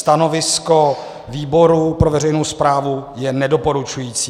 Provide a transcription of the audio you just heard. Stanovisko výboru pro veřejnou správu je nedoporučující.